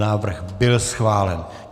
Návrh byl schválen.